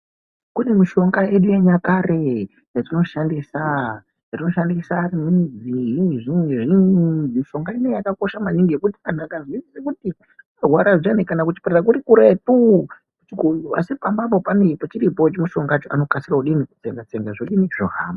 Kune mishonga yedu yenyakare yatinoshandisa yatinoshandisa. Mishonga inoyi yakakosha maningi yekuti anhu akaziye kuti kurwara zviyani kana kuchipatara kuri kuretuu asi pamba apa chiripo chimushongacho anokasika kudini, kutsenga-tsenga zvodini, zvohamba.